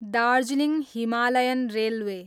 Darjeeling Himalayan railway